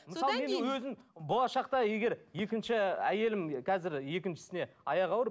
болашақта егер екінші әйелім қазір екіншісіне аяғы ауыр